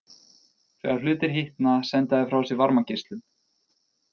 Þegar hlutir hitna senda þeir frá sér varmageislun.